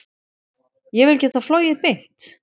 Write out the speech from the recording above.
Ég vil geta flogið beint.